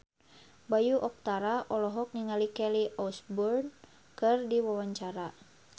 Bayu Octara olohok ningali Kelly Osbourne keur diwawancara